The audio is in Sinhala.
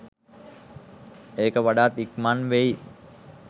ඒක වඩාත් ඉක්මන් වෙයි.